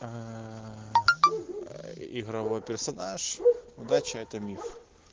ааа игровой персонаж удача это миф